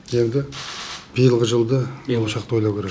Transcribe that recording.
енді биылғы жылды болашақты ойлау керек